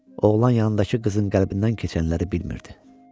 oğlan yanındakı qızın qəlbindən keçənləri bilmirdi.